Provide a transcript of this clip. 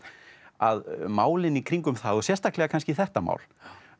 að málin í kringum það og sérstaklega kannski þetta mál